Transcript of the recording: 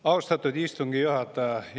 Austatud istungi juhataja!